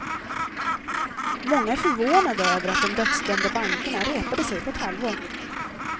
Många är förvånande över att de dödsdömda bankerna repade sig på ett halvår.